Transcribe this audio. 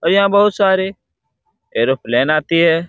और यहाँ बहुत सारे एरोप्लेन आती है।